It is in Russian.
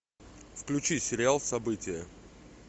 включи сериал событие